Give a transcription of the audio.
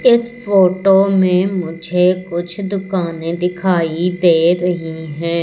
इस फोटो में मुझे कुछ दुकानें दिखाई दे रही हैं।